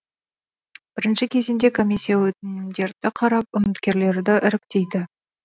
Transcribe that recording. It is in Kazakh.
бірінші кезеңде комиссия өтінімдерді қарап үміткерлерді іріктейді